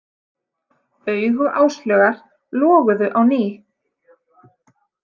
Augu Áslaugar loguðu á ný.